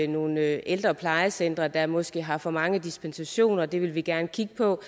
nogle ældre plejecentre der måske har for mange dispensationer det vil vi gerne kigge på